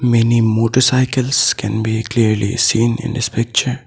Many motorcycles can be clearly seen in this picture.